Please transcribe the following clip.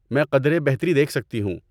میں قدرے بہتری دیکھ سکتی ہوں۔